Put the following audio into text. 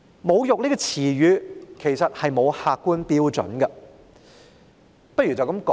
"侮辱"一詞其實沒有客觀標準。